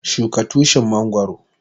Shuka Tushin mangoro.